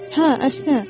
Hə, əsnə.